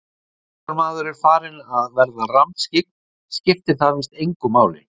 En svo þegar maður er farinn að vera rammskyggn skiptir það víst engu máli.